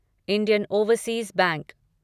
Indian Overseas bank